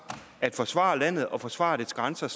at forsvare landet og forsvare dets grænser